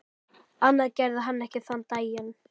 Annað gerði hann ekki þann daginn.